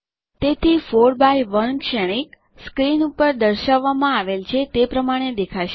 તેથી 4 બાય 1 શ્રેણીક સ્ક્રીન પર દર્શાવવામાં આવેલ છે તે પ્રમાણે દેખાશે